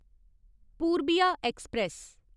Purbiya express